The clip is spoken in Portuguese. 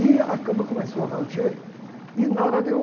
E a cama começou a ranger e nada de eu